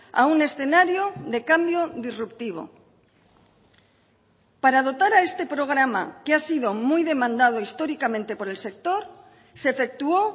a un escenario de cambio disruptivo para dotar a este programa que ha sido muy demandado históricamente por el sector se efectuó